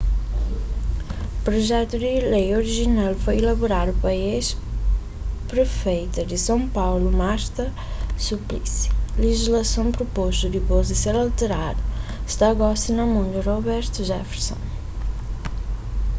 projetu di lei orijinal foi elaboradu pa ex-prefeita di son paulu marta suplicy lejislason propostu dipôs di ser alteradu sta gosi na mon di roberto jefferson